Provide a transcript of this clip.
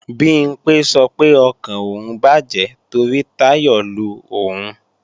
Bimpé sọ pé ọkàn òun bàjẹ́ torí Táyọ̀ lo òun